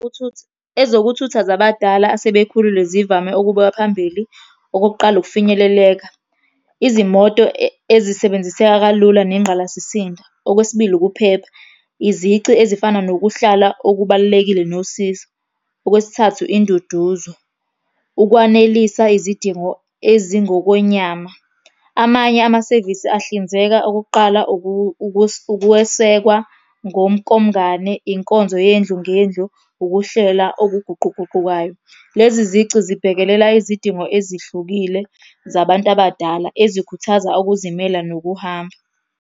Ezokuthutha zabadala asebekhulile zivame ukubeka phambili, okokuqala, ukufinyeleleka. Izimoto ezisebenziseka kalula nengqalasisinda. Okwesibili, ukuphepha, izici ezifana nokuhlala okubalulekile nosizo. Okwesithathu induduzo, ukwanelisa izidingo ezingokwenyama. Amanye amasevisi ahlinzeka okokuqala, ukuwesekwa ngomkomngane, inkonzo yendlu ngendlu, ukuhlela okuguquguqukayo. Lezi zici zibhekelela izidingo ezihlukile zabantu abadala, ezikhuthaza ukuzimela nokuhamba.